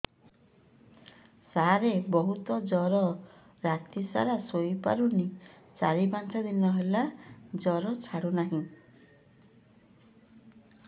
ସାର ବହୁତ ଜର ରାତି ସାରା ଶୋଇପାରୁନି ଚାରି ପାଞ୍ଚ ଦିନ ହେଲା ଜର ଛାଡ଼ୁ ନାହିଁ